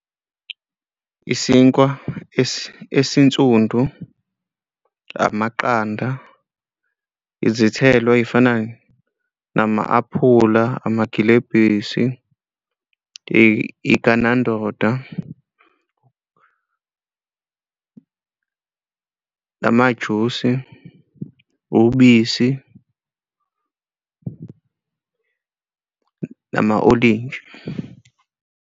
Isinkwa esinsundu, amaqanda, izithelo ey'fana nama-aphula amagilebhisi iganandoda namajusi ubisi, nama-olintshi.